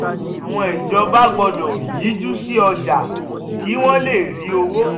àwọn ìjọba gbọ́dọ̀ yíjú sí ọjà kí wọ́n lè rí owó.